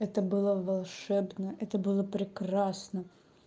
это было волшебно это было прекрасно